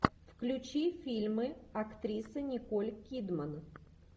включи фильмы актрисы николь кидман